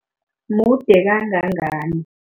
Mude kangangani?